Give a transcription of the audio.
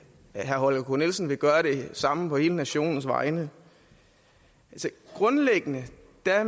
herre holger k nielsen vil gøre det samme på hele nationens vegne grundlæggende